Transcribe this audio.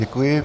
Děkuji.